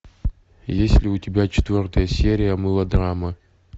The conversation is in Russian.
есть ли у тебя четвертая серия мылодрама